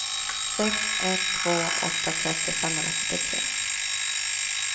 sex ett två åtta trettio femhundrafyrtiotre